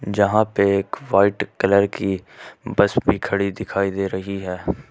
जहां पे एक वाइट कलर की बस भी खड़ी दिखाई दे रही है।